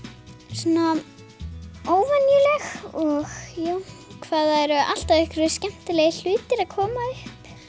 svona óvenjuleg og já hvað það eru alltaf einhverjir skemmtilegir hlutir að koma upp